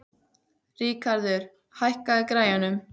Ríkarður, hækkaðu í græjunum.